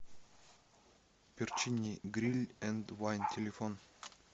перчини гриль энд вайн телефон